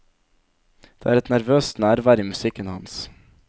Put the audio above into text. Det er et nervøst nærvær i musikken hans.